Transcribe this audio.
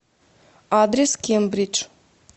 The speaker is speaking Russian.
адрес кембридж